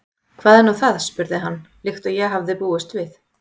Hvað er nú það? spurði hann, líkt og ég hafði búist við.